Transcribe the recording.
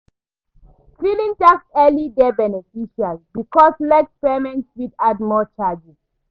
Filing tax early dey beneficial because late payment fit add more charges